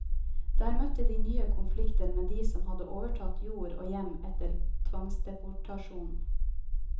Der møtte de nye konflikter med de som hadde overtatt jord og hjem etter tvangsdeportasjonen.